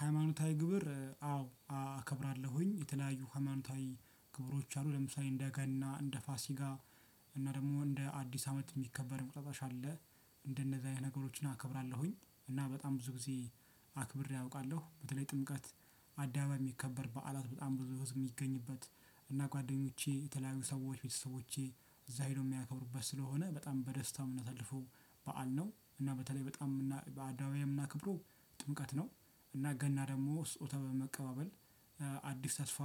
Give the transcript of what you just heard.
ሃይማኖታዊ ግብር አዎ አከብራለሁኝ የተለያዩ ሃይማኖታዊ ግብሮች አሉ ለምሳሌ እንደ ገና እንደ ፋሲጋ እና ደግሞ እንደ አዲስ አመት የሚከበር እንቁጣጣሽ አለ። እንደነዛ አይነት ነገሮችን አከብራለሁኝ እና በጣም ብዙ ጊዜ አክብሬ አውቃለሁ በተለይ ጥምቀት አዳማ የሚከበር በዓላት በጣም ብዙ ህዝብ የሚገኝበት እና ጓደኞቼ የተለያዩ ሰዎች ቤተሰቦቼ እዛ ሄዶ የሚያከብሩበት ስለሆነ በጣም በደስታው ነው የምናሳልፈው። በዓል ነው እና በተለይ በጣም በአዳማ እና የምናክብሮው ጥምቀት ነው። እና ገና ደግሞ ስጦታ በመቀባበል አዲስ ተስፋ